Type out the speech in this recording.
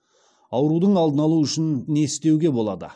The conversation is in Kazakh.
аурудың алдын алу үшін не істеуге болады